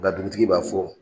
NKa dugutigi b'a fɔ